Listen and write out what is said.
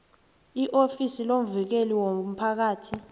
iofisi lomvikeli womphakathi